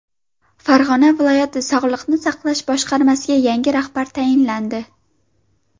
Farg‘ona viloyati Sog‘liqni saqlash boshqarmasiga yangi rahbar tayinlandi.